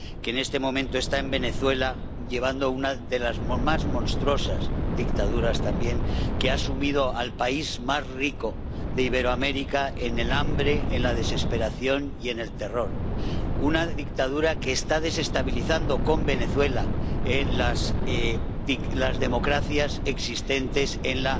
que en este momento está en Venezuela, apoyando una de las más monstruosas dictaduras que ha sumido al país más rico de Iberoamérica en el hambre, en la desesperación y en el terror. Una dictadura que está desestabilizando con Venezuela las democracias existentes en